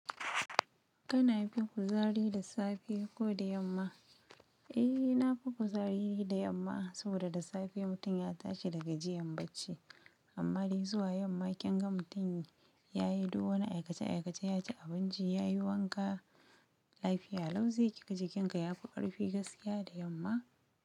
Kana fin kuzari da safe, ko da yamma? Eh na fi kuzari da yamma saboda da safe mutum ya tashi dagajiyan bacci amma dai zuwa yamma kin ga mutum yayi duk wani aikace aikace yaci abinci yayi wanka, lafiya lau zai kika jikinka ya fi ƙarfi gaskiya da yamma.